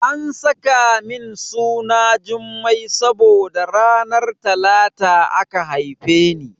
An saka min suna Jummai saboda ranar Talata aka haife ni.